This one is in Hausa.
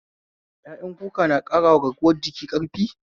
Ƴaƴan kuka na ƙarawa garkuwa jiki ƙarfi?